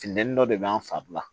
Funteni dɔ de b'an fari la